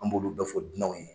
An b'olu bɛɛ fɔ dunanw ye.